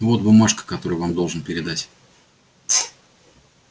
вот бумажка которую я вам должен передать